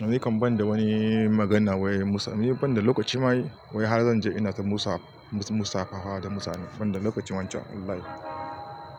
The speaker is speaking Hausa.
Ni nikan banda wani magana wai musa, ni banda lokaci ma wai har zan je ina ta musa, musa faha da mutane, banda lokacin wancan Allah ya.